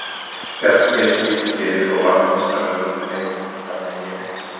Bjarki gerði sér lítið fyrir og varði meistaralega og hélt heimamönnum þannig inni í leiknum.